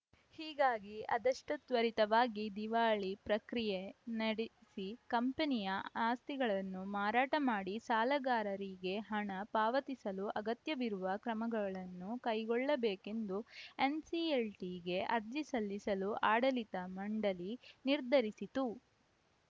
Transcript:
ಹೀಗಾಗಿ ಆದಷ್ಟುತ್ವರಿತವಾಗಿ ದಿವಾಳಿ ಪ್ರಕ್ರಿಯೆ ನಡೆಸಿ ಕಂಪನಿಯ ಆಸ್ತಿಗಳನ್ನು ಮಾರಾಟ ಮಾಡಿ ಸಾಲಗಾರರಿಗೆ ಹಣ ಪಾವತಿಸಲು ಅಗತ್ಯವಿರುವ ಕ್ರಮಗಳನ್ನು ಕೈಗೊಳ್ಳಬೇಕೆಂದು ಎನ್‌ಸಿಎಲ್‌ಟಿಗೆ ಅರ್ಜಿ ಸಲ್ಲಿಸಲು ಆಡಳಿತ ಮಂಡಳಿ ನಿರ್ಧರಿಸಿತು